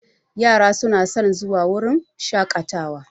Yara su na son zuwa wurin shaƙatawa